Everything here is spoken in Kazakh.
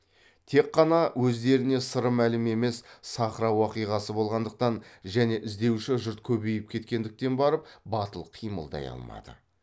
тек қана өздеріне сыры мәлім емес сахра уақиғасы болғандықтан және іздеуші жұрт көбейіп кеткендіктен барып батыл қимылдай алмады